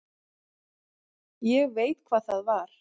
Ég veit hvað það var.